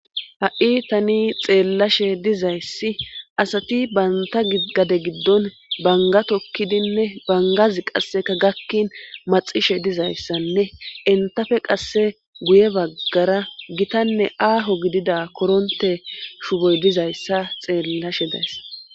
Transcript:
ha7i tani xeellashe dizayssi asati banta gade giddon bangatokkidinne bangazi qasseka gakkin maxishe dizayssanne entafe qasse guye baggara gitanne aaho gidida koronte shuboy dizayssa xeellashe days